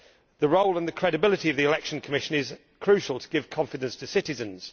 The role and the credibility of the election commission is crucial in order to give confidence to citizens.